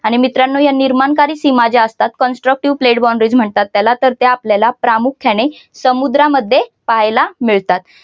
आणि मित्रांनो या निर्माणकारी सीमा ज्या असतात constructive pledge boundaries म्हणतात त्याला तर त्या आपल्याला प्रामुख्याने समुद्रामध्ये पाहायला मिळतात.